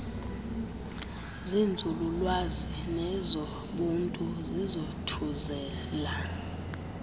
zenzululwazi nezobuntu zizathuzela